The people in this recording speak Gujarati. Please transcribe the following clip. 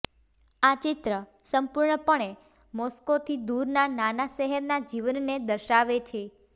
આ ચિત્ર સંપૂર્ણપણે મોસ્કોથી દૂરના નાના શહેરના જીવનને દર્શાવે છે